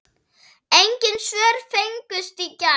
Engin svör fengust í gær.